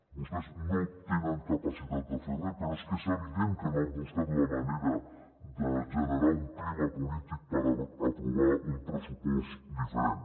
vostès no tenen capacitat de fer res però és que és evident que no han buscat la manera de generar un clima polític per aprovar un pressupost diferent